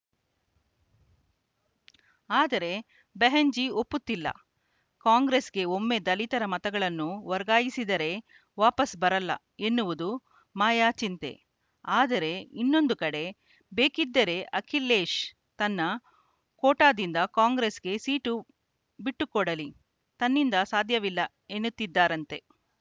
ಆದರೆ ಬೆಹೆನ್‌ಜಿ ಒಪ್ಪುತ್ತಿಲ್ಲ ಕಾಂಗ್ರೆಸ್‌ಗೆ ಒಮ್ಮೆ ದಲಿತರ ಮತಗಳನ್ನು ವರ್ಗಾಯಿಸಿದರೆ ವಾಪಸ್‌ ಬರಲ್ಲ ಎನ್ನುವುದು ಮಾಯಾ ಚಿಂತೆ ಆದರೆ ಇನ್ನೊಂದು ಕಡೆ ಬೇಕಿದ್ದರೆ ಅಖಿಲೇಶ್‌ ತನ್ನ ಕೋಟಾದಿಂದ ಕಾಂಗ್ರೆಸ್‌ಗೆ ಸೀಟು ಬಿಟ್ಟುಕೊಡಲಿ ತನ್ನಿಂದ ಸಾಧ್ಯವಿಲ್ಲ ಎನ್ನುತ್ತಿದ್ದಾರಂತೆ